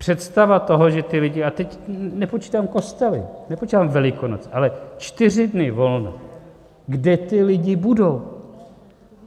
Představa toho, že ty lidi - a teď nepočítám kostely, nepočítám Velikonoce, ale čtyři dne volna - kde ty lidi budou?